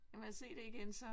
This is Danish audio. Kan man se det igen så